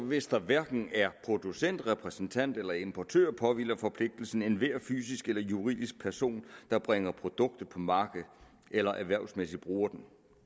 hvis der hverken er producentrepræsentant eller importør påhviler forpligtelsen enhver fysisk eller juridisk person der bringer produktet på markedet eller erhvervsmæssigt bruger det